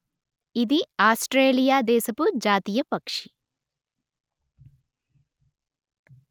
ఇది ఆస్ట్రేలియా దేశపు జాతీయ పక్షి